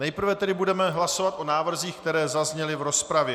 Nejprve tedy budeme hlasovat o návrzích, které zazněly v rozpravě.